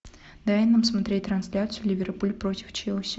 дай нам смотреть трансляцию ливерпуль против челси